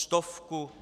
Stovku?